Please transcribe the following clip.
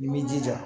I b'i jija